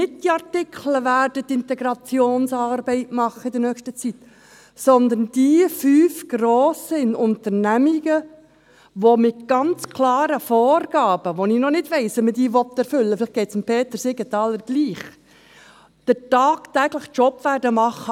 Nicht die Artikel werden in nächster Zeit die Integrationsarbeit machen, sondern die fünf grossen Unternehmungen, welche mit klaren Vorgaben – von denen ich noch nicht weiss, wie man diese erfüllen will, vielleicht geht es Peter Siegenthaler gleich – den tagtäglichen Job machen werden.